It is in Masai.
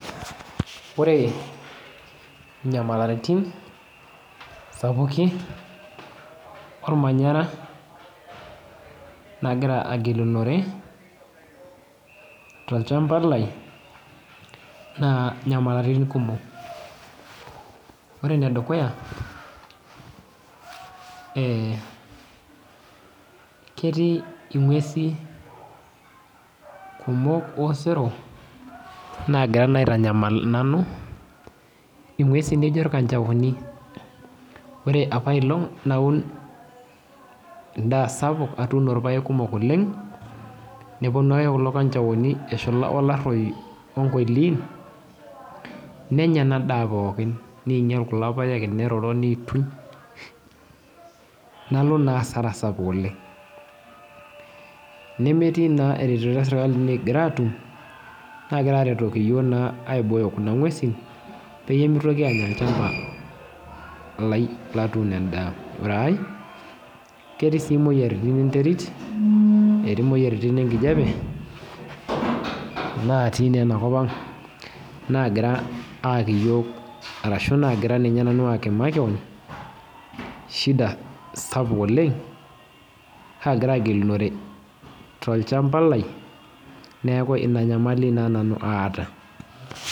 Ore inyamalatin, sapuki ormanyara nagira agilunore, tolchamba lai, naa nyamalaritin kumok. Ore enedukuya, eh ketii ing'uesi kumok osero nagira naa aitanyamal nanu, ing'uesi nijo kanchaoni. Ore apaelong' naun endaa, atuuno irpaek kumok oleng, neponu ake kulo kanchaoni eshula olarroi onkoiliin, nenya enadaa pookin. Ninyal kulo paek, neroro nituny, nalo naa asara sapuk oleng. Nemetii naa ereteto esirkali nikigira atum, nagira aretoki yiok naa aibooyo kuna ng'uesin, peyie mitoki anya olchamba lai latuuno endaa. Ore ai, ketii si moyiaritin enterit, etii moyiaritin enkijape, natii naa enakop ang', arashu nagira ninye nanu aki makeon, shida sapuk oleng, kagira agilinore tolchamba lai, neeku ina nyamali naa nanu aata.